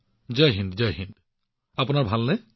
জয় হিন্দ জয় হিন্দ ভাতৃ আপোনাৰ ভাল নে